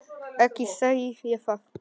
Ekki segi ég það.